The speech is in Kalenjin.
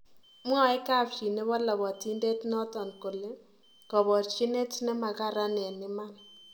Mwae kapchi nebo lapatindet noton kole kaparchinet ne makaran en iman